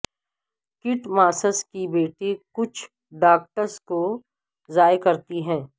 Kate Moss کی بیٹی کچھ ڈاگٹس کو ضائع کرتی ہے